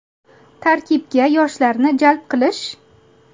Tarkibga yoshlarni jalb qilish?